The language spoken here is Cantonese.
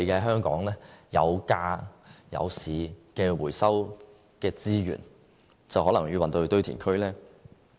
香港有價有市的回收資源，可能要運往堆填區。